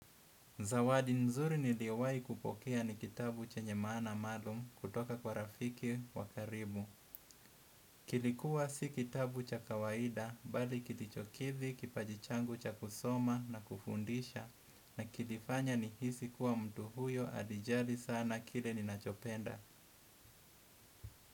Zawadi nzuri niliyo wahi kupokea ni kitabu chenye maana maalum kutoka kwa rafiki wa karibu. Kilikuwa si kitabu cha kawaida bali kilichokidhi kipaji changu cha kusoma na kufundisha. Na kilifanya nihisi kuwa mtu huyo alijali sana kile ninachopenda.